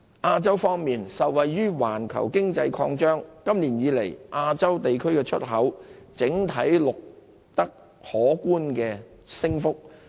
亞洲方面，受惠於環球經濟擴張，亞洲地區的出口今年以來整體上錄得可觀升幅。